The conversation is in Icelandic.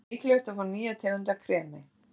Þá er mikilvægt að fá nýja tegund af kremi.